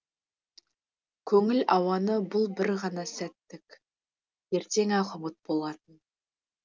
көңіл ауаны бұл бір ғана сәттік ертең ақ ұмыт болатын